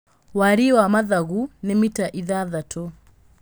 Wariĩ wa mathagu nĩ mita ithathatũ